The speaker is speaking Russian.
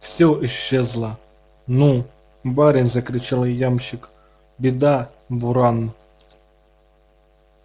всё исчезло ну барин закричал ямщик беда буран